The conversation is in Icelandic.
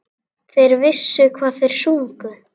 Þeir vissu hvað þeir sungu.